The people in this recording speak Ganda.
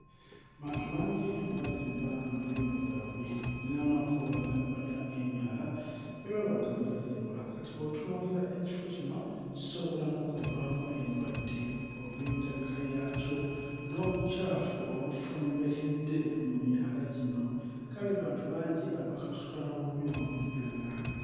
Bantu bangi bazimba amayumba gaabwe n'amakubo agandibadde ag'emyala ne baba nga bagazimba kati bw'otunuulira ekifo kino kisobola n'okuvaamu endwadde olw'endabika yaakyo n'obukyafu obufumbekedde mu myala gino kale bantu bangi abakasuka n'obubi mu myala.